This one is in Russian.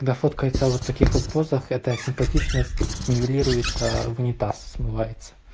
да фоткается вот в таких вот позах эта симпатичность нивелируется в унитаз смывается